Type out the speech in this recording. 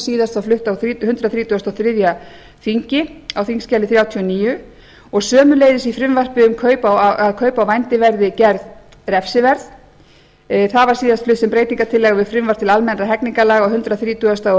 síðast var flutt á hundrað þrítugasta og þriðja þingi á þingskjali þrjátíu og níu og sömuleiðis í frumvarpi um að kaup á vændi verði gerð refsiverð það var síðast flutt sem breytingartillaga við frumvarp til almennra hegningarlaga á hundrað þrítugasta og